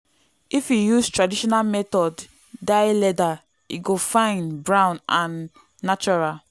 if you use traditional method dye leather e go fine brown and natural.